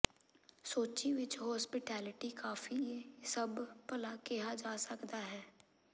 ਸੋਚੀ ਵਿੱਚ ਹੋਸਪਿਟੈਲਿਟੀ ਕਾਫ਼ੀ ਸਭ ਭਲਾ ਕਿਹਾ ਜਾ ਸਕਦਾ ਹੈ